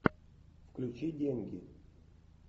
включи деньги